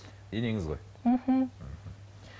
енеңіз ғой мхм мхм